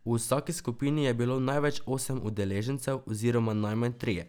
Tokrat je dobil bencinski osemvaljnik, ki ima neposredni vbrizg goriva in dve turbopuhali.